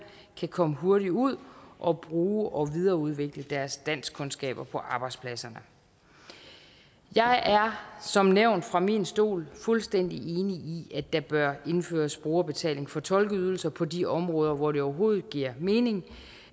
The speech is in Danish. kan komme hurtigt ud og bruge og videreudvikle deres danskkundskaber på arbejdspladserne jeg er som nævnt fra min stol fuldstændig enig i at der bør indføres brugerbetaling for tolkeydelser på de områder hvor det overhovedet giver mening